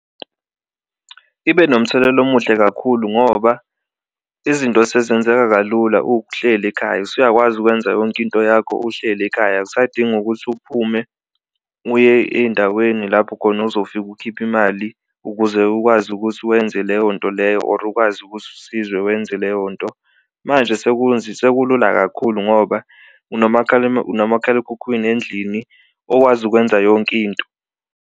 Ibe nomthelela omuhle kakhulu ngoba izinto sezenzeka kalula uhleli ekhaya, usuyakwazi ukwenza yonke into yakho uhleli ekhaya awusadingi ukuthi uphume uye ey'ndaweni lapho khona ozofika ukhiphe imali ukuze ukwazi ukuthi wenze leyo nto leyo or ukwazi ukuthi usizwe wenze leyo nto. Manje sekulula kakhulu ngoba unomakhalekhukhwini endlini okwazi ukwenza yonke into.